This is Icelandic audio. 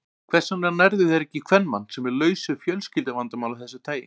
Hvers vegna nærðu þér ekki í kvenmann, sem er laus við fjölskylduvandamál af þessu tagi?